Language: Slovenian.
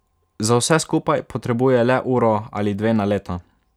Za vse skupaj potrebuje le uro ali dve na leto.